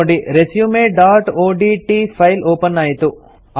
ನೋಡಿ resumeಒಡಿಟಿ file open ಆಯಿತು